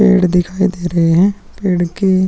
पेड़ दिखाई दे रहे है पेड़ के --